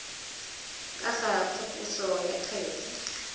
ka ga phaposo ya kgetse